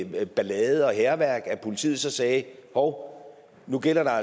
med ballade og hærværk altså at politiet så sagde at hov nu gælder der